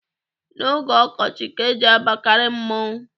N'oge ọkọchị ka e ji abakarị mmọnwụ.